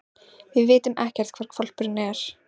Við vitum ekkert hvar hvolpurinn er.